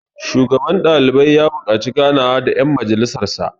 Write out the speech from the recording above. shugaban ɗalibai ya buƙaci ganawa da yan majjalisarsa